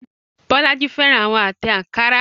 Bolaji fẹ́ràn àwọn àtẹ̀ ankara.